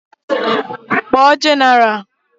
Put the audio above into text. Kpọọ jenaral!